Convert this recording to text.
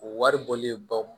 O wari bɔlen baw